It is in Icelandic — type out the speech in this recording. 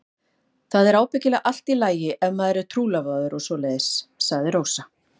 Það er ábyggilega allt í lagi ef maður er trúlofaður og svoleiðis, sagði Rósa.